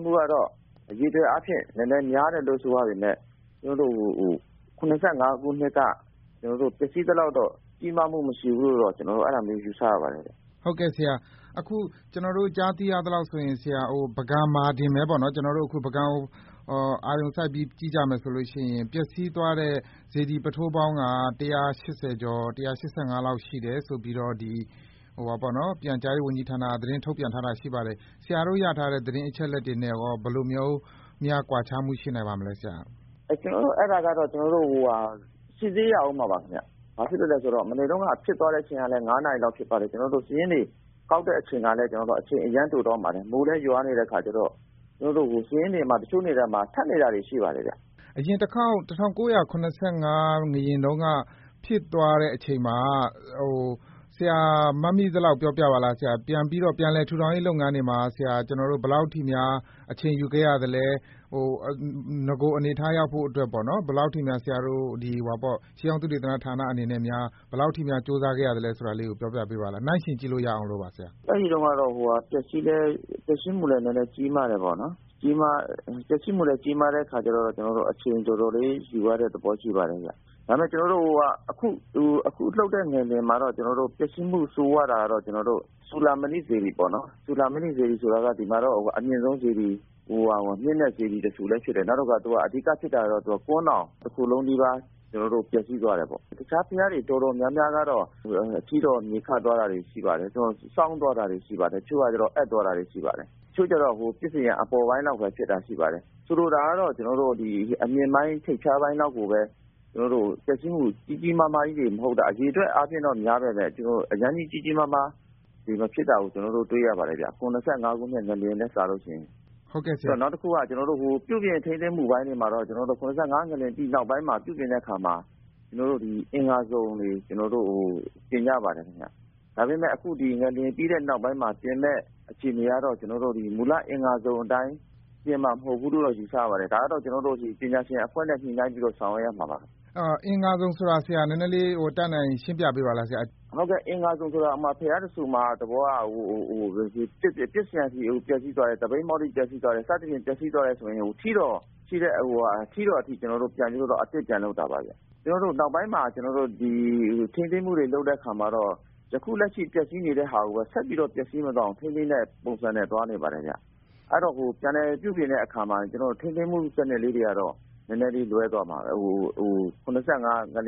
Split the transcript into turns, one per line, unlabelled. းမှုကတော့ အရေအတွက်အားဖြင့် နည်းနည်းများတယ်လို့ ဆိုရပေမယ့် ကျနော်တို့ ၇၅ ခုနှစ်က ပျက်စီးသလောက်တော့ ကြီးမားမှု မရှိဘူးလို့တော့ ကျနော်တို့ အဲဒါမျိုး ယူဆရပါ တယ်။
အခု ကျနော်တို့ ကြားသိရသလောက်ဆိုရင် ပုဂံမှာတင်ပဲ၊ ကျနော်တို့ ပုဂံကိုပဲ အာရုံစိုက် ကြည့်ကြမယ်ဆိုရင် ပျက်စီးသွားတဲ့ စေတီ ပုထိုးပေါင်းက ၁၈၅ လောက် ရှိတယ်ဆိုပြီးတော့ ပြန်ကြားရေးဝန်ကြီးဌာနက သတင်း ထုတ်ပြန်ထားတာ ရှိပါတယ်။ ဆရာတို့ရထားတဲ့ သတင်း အချက်အလက်တွေနဲ့ရော ဘယ်လိုမျိုးများ ကွာခြားမှု ရှိနိုင်ပါသလဲဆရာ။
အဲဒါကတော့ ကျနော်တို့ စစ်ဆေးရဦးမှာပါခင်ဗျ။ ဘာဖြစ်လို့ လဲဆိုတော့ မနေ့တုန်းက ဖြစ်သွားတဲ့အချိန်ကလည်း ၅ နာရီလောက် ဖြစ်သွားတယ်၊ ကျနော်တို့ စာရင်းတွေကောက်တဲ့အချိန်ကလည်း အရမ်း တိုတောင်းပါတယ်။ မိုးလည်း ရွာနေတဲ့အခါကျတော့ စာရင်းတွေမှာ တချို့ ထပ်နေတာတွေ ရှိပါတယ် ခင်ဗျ။
အရင်တခေါက် ၁၉၇၅ ငလျင် ဖြစ်သွားတဲ့အချိန်မှာ ဆရာမှတ်မိ သလောက် ပြောပြပါလား။ ပြန်လည် ထူထောင်ရေးလုပ်ငန်းတွေမှာ ဘယ်လောက် အထိများ အချိန်ယူခဲ့ရသလဲ။ နဂိုအနေအထား ရောက်ဖို့အတွက်ပဲ ဆရာ တို့ ရှေးဟောင်းသုတေသနဌာနအနေနဲ့ ဘယ်လောက်အထိများ ကြိုးစားခဲ့ရသလဲ ဆိုတာလေးကို ပြောပြပေးပါလား။
အဲဒီတုန်းကတော့ ပျက်စီးမှုလည်း နည်းနည်းကြီးမား တယ်ပေါ့နော်။ ပျက်စီးမှုလည်း ကြီးမားတဲ့အခါကျတော့ ကျနော်တို့ အချိန် တော်တော်လေး ယူရတဲ့သဘောရှိပါတယ်ဗျ။ ဒါပေမယ့် အခုလှုပ်တဲ့ ငလျင် မှာတော့ ပျက်ဆီးမှု ဆိုးရွားတာကတော့ ကျနော်တို့ စူဠာမဏိ စေတီပေါ့နော်။ စူဠာမဏိစေတီဆိုတာက ကျနော်တို့ ဒီမှာတော့ အမြင့်ဆုံးစေတီ၊ မြင့်တဲ့စေတီတဆူ လည်း ဖြစ်တယ်။ အဓိက ဖြစ်တာကတော့ ကွမ်းတောင်တခုလုံးနီးပါး ပျက်စီးသွား တယ်ပေါ့။ တခြားဘုရားတွေ တော်တော်များများကတော့ ထီးတော် မြေခသွား တာတွေ ရှိပါတယ်။ စောင်းသွားတာတွေ ရှိပါတယ်။ တချို့ကကျတော့ အက်သွား တာတွေ ရှိပါတယ်။ တချို့ကျတော့ ပစ္စယံ အပေါ်ပိုင်းလောက်ပဲ ဖြစ်တာရှိပါတယ်။ ဆိုလိုတာကတော့ ကျနော်တို့ အမြင့်ပိုင်း၊ ထိပ်ဖျားပိုင်းလောက်ကိုပဲ ကျနော်တို့ ပျက်စီးမှု ကြီးကြီးမားမားကြီးတွေ မဟုတ်တာ၊ အရေအတွက်အားဖြင့်တော့ များပေ မယ့် အရမ်းကြီး ကြီးကြီးမားမားတွေ မဖြစ်တာကို ကျနော်တို့ တွေ့ရပါတယ်ခင်ဗျ၊ ၇၅ ခုနှစ်ထက် စာရင်။ နောက်တခုက ပြုပြင်ထိန်းသိမ်းမှုပိုင်း ဆိုင်ရာမှာတော့ ကျနော်တို့ ၇၅ ငလျင် အပြီး နောက်ပိုင်းမှာ ပြုပြင်တဲ့အခါမှာ အင်္ဂါစုံတွေ ကျနော်တို့ တင်ကြပါတယ်ခင်ဗျ။ ဒါပေမယ့် အခု ဒီ ငလျင်ပြီးတဲ့နောက်ပိုင်းမှာ ပြင်မယ့် အခြေအနေကတော့ ကျနော် တို့ မူလ အင်္ဂါစုံအတိုင်း ပြင်မှာ မဟုတ်ဘူးလို့တော့ ယူဆရပါတယ်။ ဒါကတော့ ကျနော်တို့ ပညာရှင်အဖွဲ့နဲ့ ညှိနှိုင်းပြီးတော့ ဆောင်ရွက်ရမှာပါခင်ဗျ။
အင်္ဂါစုံဆိုတာ ဆရာ နည်းနည်းလေး ရှင်းပြပေးပါလား ဆရာ။
ဟုတ်ကဲ့။ အင်္ဂါစုံဆိုတာ ဥပမာ ဘုရားတဆူမှာ သဘောက ပစ္စယံတွေ ပျက်ဆီးသွားတယ်၊ သပိတ်မှောက်တွေ ပျက်စီးသွားတယ် စသဖြင့် ပျက်စီးသွားတယ်ဆိုရင် ထီးတော်အထိ ကျနော်တို့ ပြန်ပြီးတော့ အသစ်ပြန်လုပ် တာပါဗျ။ ကျနော်တို့ နောက်ပိုင်းမှာ ထိန်းသိမ်းမှုတွေ လုပ်တဲ့အခါမှာတော့ ယခု လက်ရှိ ပျက်ဆီးနေတဲ့ဟာကိုပဲ ဆက်ပြီးတော့ ပျက်စီးမသွားအောင် ထိန်းသိမ်းတဲ့ ပုံစံနဲ့ သွားနေပါတယ်ဗျ။ အဲဒီတော့ ပြန်လည် ပြုပြင်တဲ့နေရာမှာ ထိန်းသိမ်းမှုလေးတွေကတော့ ၇၅ ငလျ